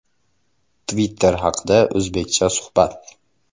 Twitter haqida o‘zBeckcha suhbat.